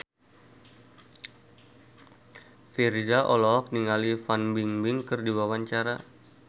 Virzha olohok ningali Fan Bingbing keur diwawancara